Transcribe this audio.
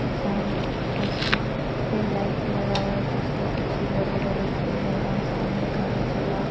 साम उस पे लाइट लगा हुआ है उस के पीछे बड़े-बड़े पेड़ हैं और सामने खाली जगह --